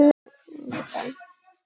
Við höfum verið heppin.